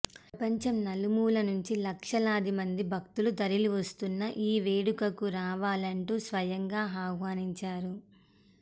ప్రపంచం నలుమూల నుంచి లక్షలాది మంది భక్తులు తరలివస్తున్న ఈ వేడుకకు రావాలంటూ స్వయంగా ఆహ్వానించారు